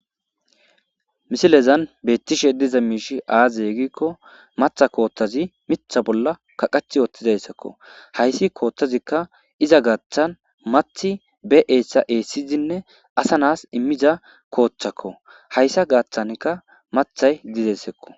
Misilezan beettishe diza miishi aazeegikko matha koottazi mitha bolla kaqach oottidayssakko hayssi kooththazikka iza gaaththan mathi be eessa eessizinne asa nas immiza kooththakko hayssa gaaththankka mathay didessekko